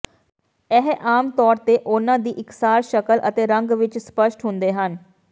ਇਹ ਆਮ ਤੌਰ ਤੇ ਉਨ੍ਹਾਂ ਦੀ ਇਕਸਾਰ ਸ਼ਕਲ ਅਤੇ ਰੰਗ ਵਿਚ ਸਪੱਸ਼ਟ ਹੁੰਦੇ ਹਨ